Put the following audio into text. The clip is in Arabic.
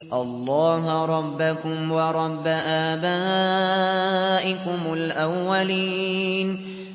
اللَّهَ رَبَّكُمْ وَرَبَّ آبَائِكُمُ الْأَوَّلِينَ